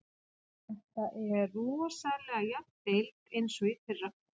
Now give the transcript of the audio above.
Þetta er rosalega jöfn deild eins og í fyrra.